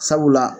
Sabula